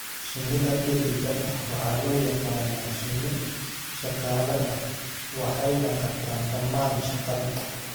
Shinida dheddigga ah waxaa loo yaqaan "shinni shaqaale ah" waxayna qabtaan dhammaan shaqada.